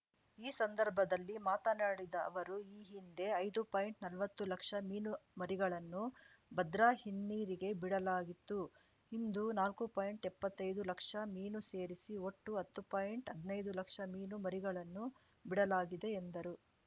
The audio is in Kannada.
ಈ ಸಂದರ್ಭದಲ್ಲಿ ಮಾತನಾಡಿದ ಅವರು ಈ ಹಿಂದೆ ಐದು ಪಾಯಿಂಟ್ನಲ್ವತ್ತು ಲಕ್ಷ ಮೀನುಮರಿಗಳನ್ನು ಭದ್ರಾ ಹಿನ್ನೀರಿಗೆ ಬಿಡಲಾಗಿತ್ತು ಇಂದು ನಾಕು ಪಾಯಿಂಟ್ಎಪ್ಪತ್ತೈದು ಲಕ್ಷ ಮೀನು ಸೇರಿಸಿ ಒಟ್ಟು ಹತ್ತು ಪಾಯಿಂಟ್ಹದ್ನೈದು ಲಕ್ಷ ಮೀನು ಮರಿಗಳನ್ನು ಬಿಡಲಾಗಿದೆ ಎಂದರು